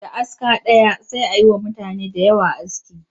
Da aska ɗaya sai a yi wa mutane da yawa aski